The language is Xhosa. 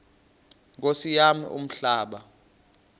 nkosi yam umhlaba